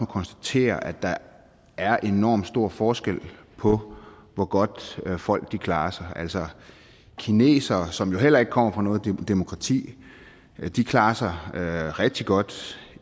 konstatere at der er enormt stor forskel på hvor godt folk klarer sig altså kinesere som jo heller ikke kommer fra noget demokrati klarer sig rigtig godt